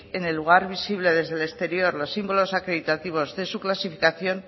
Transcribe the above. en el lugar visible desde el exterior los símbolos acreditativos de su clasificación